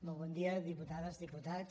molt bon dia diputades diputats